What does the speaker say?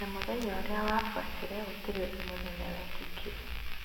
Na mũthenya ũrĩa wabuatire gũtirĩ ũndũ mũnene wekĩkire